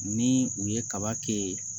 Ni u ye kaba kɛ